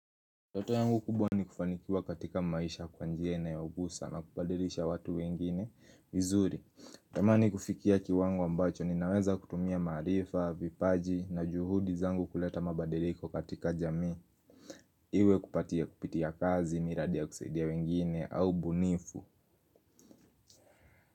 Ndoto yangu kubwa ni kufanikiwa katika maisha kwa njia inayogusa na kubadirisha watu wengine vizuri tamani kufikia kiwango ambacho ninaweza kutumia maarifa, vipaji na juhudi zangu kuleta mabadiriko katika jamii Iwe kupitia kazi, miradi ya kusaidia wengine au ubunifu.